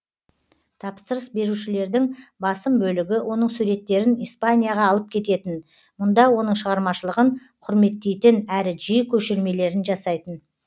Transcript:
тапсырыс берушілердің басым бөлігі оның суреттерін испанияға алып кететін мұнда оның шығармашылығын құрметтейтін әрі жиі көшірмелерін жасайтын